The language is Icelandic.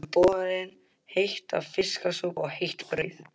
Þeim var öllum borin heit fiskisúpa og heitt brauð.